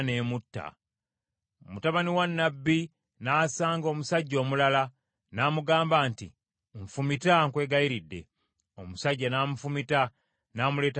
Mutabani wa nnabbi n’asanga omusajja omulala, n’amugamba nti, “Nfumita, nkwegayiridde.” Omusajja n’amufumita n’amuleetako ekiwundu.